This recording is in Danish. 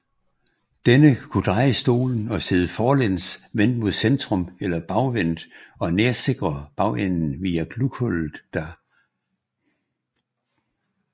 Denne kunne dreje stolen og sidde forlæns vendt mod centrum eller bagvendt og nærsikre bagenden via glughullet der